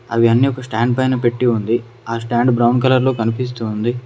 అవి అన్ని ఒక స్టాండ్ పైన పెట్టి ఉంది ఆ స్టాండ్ బ్రౌన్ కలర్ లో కనిపిస్తూ ఉంది.